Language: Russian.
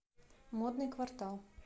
модный квартал